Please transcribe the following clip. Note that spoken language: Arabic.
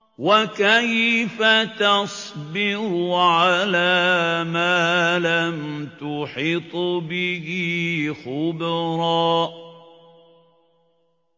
وَكَيْفَ تَصْبِرُ عَلَىٰ مَا لَمْ تُحِطْ بِهِ خُبْرًا